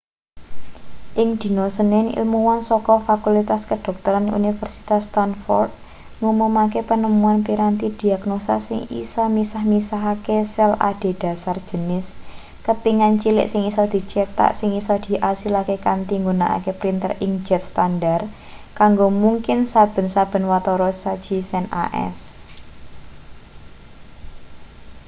ing dina senin ilmuwan saka fakultas kedokteran universitas stanford ngumumake penemuan piranti diagnosa sing isa misah-misahake sel adhedhasar jenis kepingan cilik sing isa dicetak sing isa diasilake kanthi nggunakake printer inkjet standar kanggo mungkin saben-saben watara saji sen as